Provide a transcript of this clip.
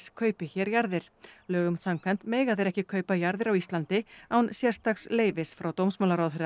kaupi hér jarðir lögum samkvæmt mega þeir ekki kaupa jarðir á Íslandi án sérstaks leyfis frá dómsmálaráðherra